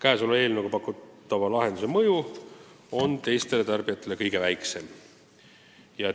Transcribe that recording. Selle eelnõuga pakutava lahenduse mõju teistele tarbijatele on kõige väiksem.